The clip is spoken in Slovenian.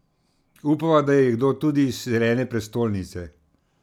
Upava, da je kdo tudi iz zelene prestolnice.